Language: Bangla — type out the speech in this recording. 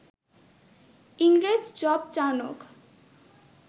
ইংরেজ জব চার্নক